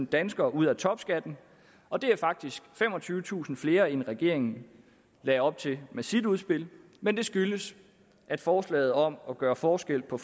danskere ud af topskatten og det er faktisk femogtyvetusind flere end regeringen lagde op til med sit udspil men det skyldes at forslaget om at gøre forskel på